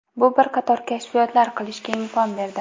Bu bir qator kashfiyotlar qilishga imkon berdi.